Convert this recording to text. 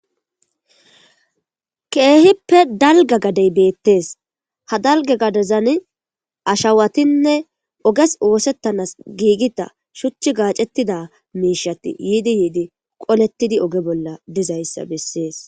Kehipe dalga gadey betese ha dalga gadezan ashawatinne ogezi osetanas gigida shuchi gacetida Mishati yidi yidi qoletidi oge bolla dizaysa besese